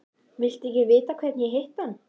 Viltu ekki vita hvernig ég hitti hann?